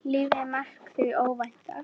Lífið er markað því óvænta.